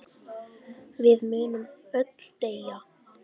Við munum öll deyja.